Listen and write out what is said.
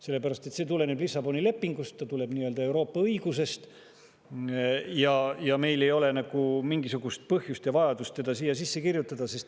Sellepärast et see tuleneb Lissaboni lepingust, see tuleneb Euroopa õigusest ja meil ei ole mingisugust põhjust ega vajadust seda siia sisse kirjutada.